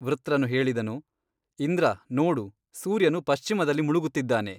ವೃತ್ರನು ಹೇಳಿದನು ಇಂದ್ರ ನೋಡು ಸೂರ್ಯನು ಪಶ್ಚಿಮದಲ್ಲಿ ಮುಳುಗುತ್ತಿದ್ದಾನೆ.